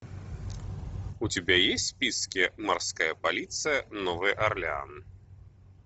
у тебя есть в списке морская полиция новый орлеан